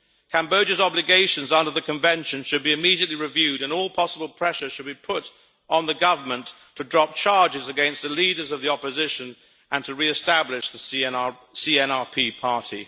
Cambodia's obligations under the Convention should be immediately reviewed and all possible pressure should be put on the government to drop charges against the leaders of the opposition and to re establish the CNRP party.